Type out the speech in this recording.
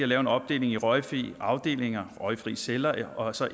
lave en opdeling i røgfrie afdelinger røgfrie celler og så